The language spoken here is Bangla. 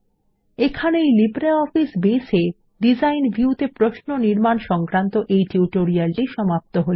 এখানেই লিব্রিঅফিস বেস এ ডিজাইন ভিউ তে প্রশ্ন নির্মাণ সংক্রান্ত এই টিউটোরিয়ালটি সমাপ্ত হল